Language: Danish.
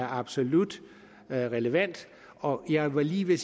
absolut er relevant og jeg var lige ved